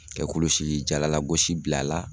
Kɛ kulusijala lagosi bil'a la